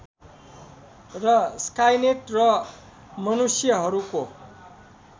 र स्काइनेट र मनुष्यहरूको